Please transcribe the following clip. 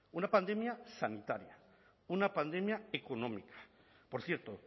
una pandemia sanitaria una pandemia económica por cierto